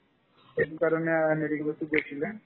এইটোকাৰণে আৰ্ হেৰি কৰিছো